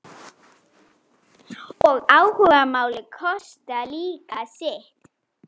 Hveravellir á Kili